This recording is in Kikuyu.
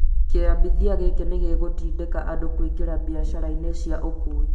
Kĩambithia gĩkĩ nĩ gĩgũtindĩka andũ kũingĩra biacara-inĩ cia ũkuui